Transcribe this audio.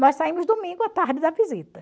Nós saímos domingo à tarde da visita.